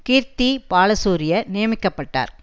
கீர்த்தி பாலசூரிய நியமிக்க பட்டார்